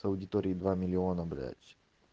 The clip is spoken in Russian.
с аудиторией два миллиона блять